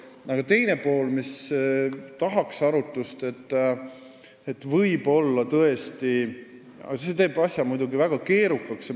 Aga on ka teine pool, mis vajaks võib-olla tõesti arutlust, ehkki see teeks asja muidugi väga keerukaks.